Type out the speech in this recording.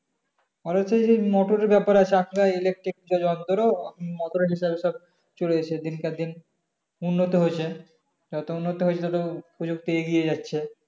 ওই যে মোটরে ব্যাপার আছে চাকরা electric যে যন্ত্র ওদেরও চলেছে দিনকে দিন উন্নত হয়েছে তা উন্নত হয়েছে তা প্রযুক্তি এগিয়ে যাচ্ছে